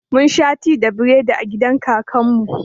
Mun sha ti da biredi a gidan kakan mu